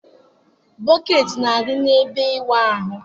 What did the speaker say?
Bọkeeti na-adị n'ebe ịwụ ahụ.